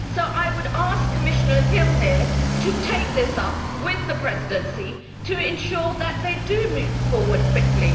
I would thus ask Commissioner Hill to take this up with the Presidency to ensure that it does move forward quickly.